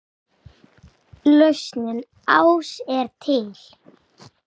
Lausnin ás er til.